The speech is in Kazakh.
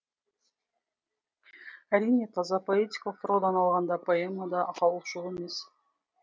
әрине таза поэтикалық тұрғыдан алғанда поэмада ақаулық жоқ емес